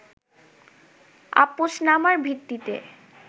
আপসনামার ভিত্তিতে